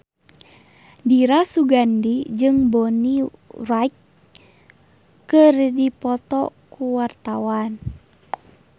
Dira Sugandi jeung Bonnie Wright keur dipoto ku wartawan